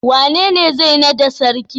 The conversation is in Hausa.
Wanene zai nada sarki?